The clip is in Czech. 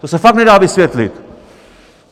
To se fakt nedá vysvětlit!